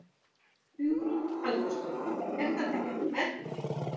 Hugrún Halldórsdóttir: Er þetta ekkert erfitt?